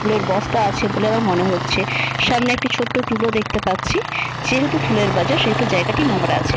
ফুলের বস্তা আছে বলে আমার মনে হচ্ছে। সামনে একটি ছোট্ট টুল ও দেখতে পাচ্ছি। যেহেতু ফুলের বাজার সেহেতু জায়গাটি নোংরা আছে।